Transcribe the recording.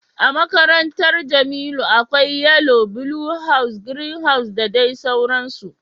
A makarantar Jamiu akwai yellow, blue house, green house da dai sauransu.